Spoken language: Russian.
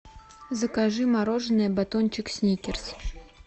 закажи мороженое батончик сникерс